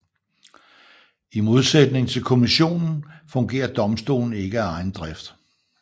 I modsætning til kommissionen fungerer domstolen ikke af egen drift